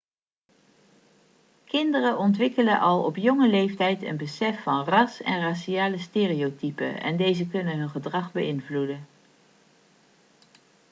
kinderen ontwikkelen al op jonge leeftijd een besef van ras en raciale stereotypen en deze kunnen hun gedrag beïnvloeden